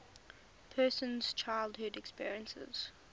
person's childhood experiences